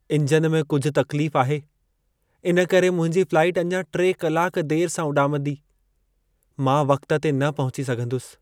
Engine में कुझ तक्लीफ आहे। इनकरे मुंहिंजी फ्लाइट अञा 3 कलाक देर सां उॾामंदी। मां वक़्त ते न पहुची सघंदुसि।